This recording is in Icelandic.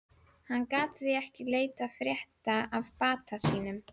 Hann gat því ekki leitað frétta af bata sínum.